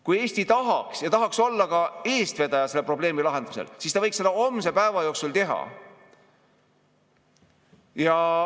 Kui Eesti tahaks olla eestvedaja selle probleemi lahendamisel, siis ta võiks seda homse päeva jooksul teha.